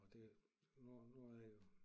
Og det nu nu er jeg jo